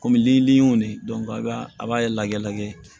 Kɔmi ni y'o de a b'a a b'a lagɛ lagɛ